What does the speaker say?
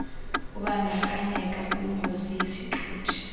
ubandakanyeka kwingozi yesithuthi